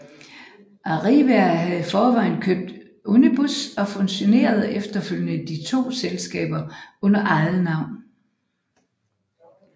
Arriva havde i forvejen købt Unibus og fusionerede efterfølgende de to selskaber under eget navn